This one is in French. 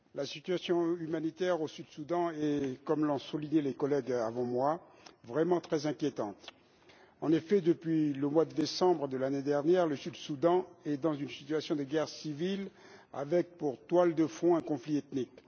Monsieur le Président, la situation humanitaire au Soudan du Sud est, comme l'ont souligné les collègues avant moi, vraiment très inquiétante. En effet, depuis le mois de décembre de l'année dernière, le Soudan du Sud est dans une situation de guerre civile, avec pour toile de fond un conflit ethnique.